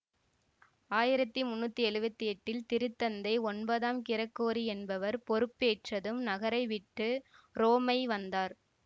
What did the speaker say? ஆயிரத்தி முன்னூத்தி எழுவத்தி எட்டில் திருத்தந்தை ஒன்பதாம் கிரகோரி என்பவர் பொறுப்பேற்றதும் நகரை விட்டு உரோமை வந்தார்